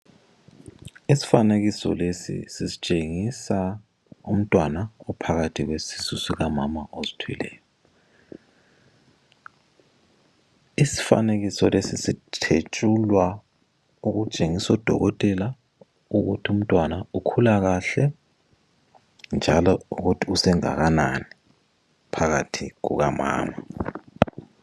Isifanekiso lesi sisitshengisa umntwana ophakathi kwesisu sikamama ozithweleyo. Isifanekiso lesi sithetshulwa okutshengisa odokotela ukuthi umntwana ukhula kahle njalo ukuthi usengakanani phakathi kukamama.